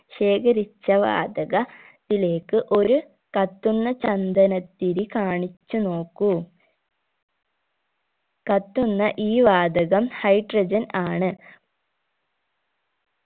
ശേഖരിച്ച വാതക ത്തിലേക്ക് ഒരു കത്തുന്ന ചന്ദനത്തിരി കാണിച്ചു നോക്കൂ കത്തുന്ന ഈ വാതകം hydrogen ആണ്